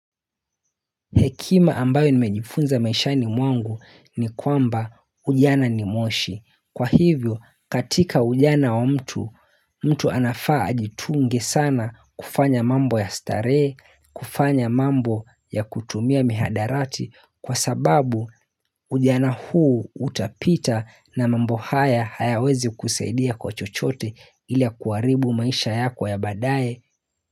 Hekima ambayo nimejifunza maishani mwangu ni kwamba ujana ni moshi. Kwa hivyo, katika ujana wa mtu, mtu anafaa ajitunge sana kufanya mambo ya starehe kufanya mambo ya kutumia mihadarati kwa sababu ujana huu utapita na mambo haya hayawezi kukusaidia kwa chochote ila kuharibu maisha yako ya badae.